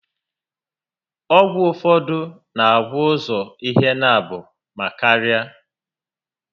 Ọgwụ ụfọdụ n'agwọ ụzọ ihe naabọ ma karịa